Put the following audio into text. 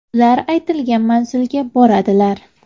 Ular aytilgan manzilga boradilar.